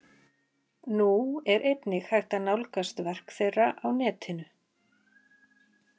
Nú er einnig hægt að nálgast verk þeirra á netinu.